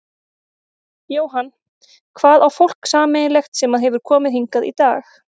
Jóhann: Hvað á fólk sameiginlegt sem að hefur komið hingað í dag?